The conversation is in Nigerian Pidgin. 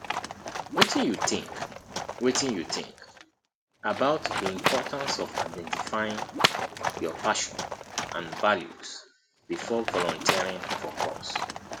wetin you think wetin you think about di importance of identifying your passion and values before volunteering for cause